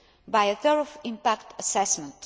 by a thorough impact assessment.